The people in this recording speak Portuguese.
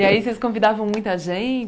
E aí vocês convidavam muita